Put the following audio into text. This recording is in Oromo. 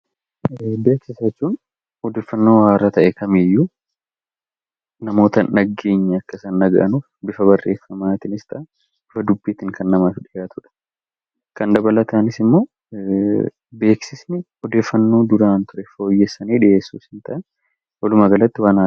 Beeksisa jechuun odeeffannoo haaraa ta'e kamiiyyuu namoota hin dhageenye akka isaan dhaga'anuuf bifa barreeffamaatiinis ta'e bifa dubbiitiin kan namaaf dhiyaatudha. Kan dabalataanis immoo beeksisni odeeffannoo duraan ture fooyyessanii dhiyeessuus ni ta'a. Walumaagalatti waan haaraadha.